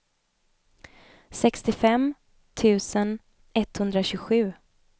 sextiofem tusen etthundratjugosju